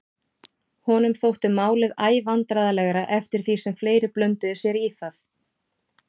Honum þótti málið æ vandræðalegra eftir því sem fleiri blönduðu sér í það.